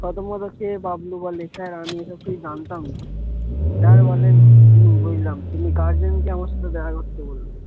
থতমত খেয়ে বাবলু বলে sir আমি এ সব কিছু জানতাম না। sir বলেন হম বুঝলাম তুমি guardian কে আমার সাথে দেখা করতে বলবে।